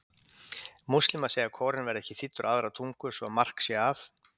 Múslímar segja að Kóraninn verði ekki þýddur á aðrar tungur svo mark sé að.